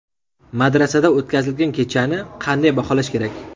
Madrasada o‘tkazilgan kechani qanday baholash kerak?